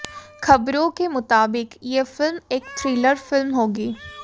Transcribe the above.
खबरों के मुताबिक ये फिल्म एक थ्रिलर फिल्म होगी